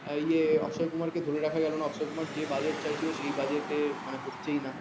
ওই অক্ষয় কুমার কে ধরে রাখা গেল না অক্ষয় কুমার যে budget চাইছিল সেই budget মানে হচ্ছেই না